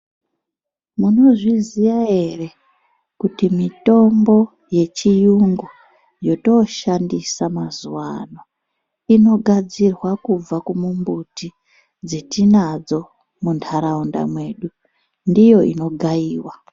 Munozviziva ere kuti mitombo yechirungu yatoshandisa mazuva ano inogadzirwa kubva kumumbuti dzetinadzo mundaraunda medu ndiyo ino gaiwa.